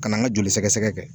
Ka na n ka joli sɛgɛsɛgɛ kɛ.